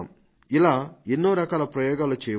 ఇలా ఎన్నో రకాల ప్రయోగాలు చేయవచ్చు